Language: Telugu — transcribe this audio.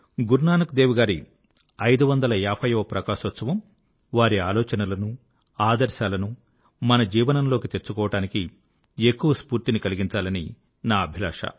గురునానక్ దేవ్ గారి 550 వ ప్రకాశోత్సవం వారి ఆలోచనలను ఆదర్శాలను మన జీవనంలోకి తెచ్చుకోవడానికి ఎక్కువ స్ఫూర్తిని కలిగించాలని నా అభిలాష